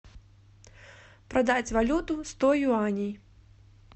продать валюту сто юаней